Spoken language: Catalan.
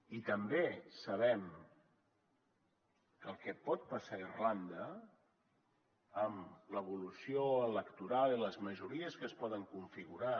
i també sabem el que pot passar a irlanda amb l’evolució electoral i les majories que es poden configurar